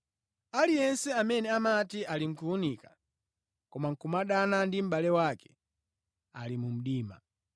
Aliyense amene amati ali mʼkuwunika, koma nʼkumadana ndi mʼbale wake ali mu mdima.